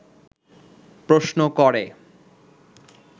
প্রশ্ন করে